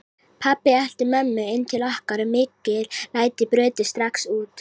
Pabbi elti mömmu inn til okkar og mikil læti brutust strax út.